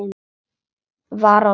var á seyði.